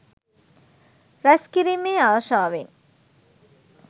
රැස්කිරීමේ ආශාවෙන්